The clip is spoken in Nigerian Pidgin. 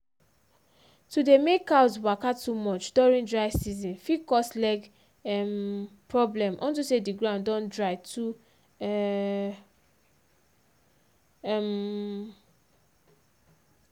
to dey make cows waka too much during dry season fit cause leg um problem onto say d ground don dry too um um